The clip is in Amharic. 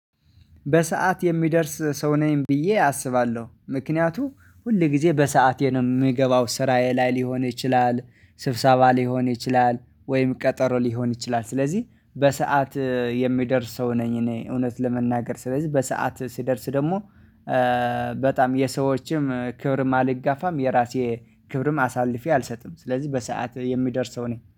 በሰአት የሚደርስ ሰው ነኝ ብዬ አስባለሁ ምክንያቱም ሁል ጊዜ በሰአቴንም የምገባው ስራዬ ላይ ሊሆን ይችላል ስብሰባ ሊሆን ይችላል ወይም ቀጠሮ ሊሆን ይችላል። ስለዚህ በሰአት የሚደርስ ሰው ነኝ። እኔ እውነት ለመናገር ስለዚህ በሰአት ሲደርስ ደግሞ በጣም የሰዎችም ክብርም አልጋፋም። የራሴ ክብርም አሳልፌ አልሰጥም ስለዚህ በሰአት የሚደርሰው እኔ